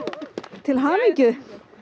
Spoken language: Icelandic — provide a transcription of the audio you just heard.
til hamingju